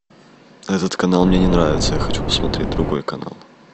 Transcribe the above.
этот канал мне не нравится я хочу посмотреть другой канал